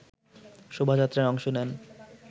শোভাযাত্রায় অংশ নেন